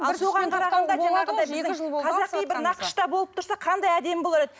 қазақи бір нақышта болып тұрса қандай әдемі болар еді